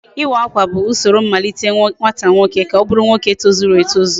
Iwa Akwa bụ usoro mmalite nwata nwoke ka ọ bụrụ nwoke tozuru etozu